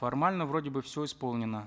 формально вроде бы все исполнено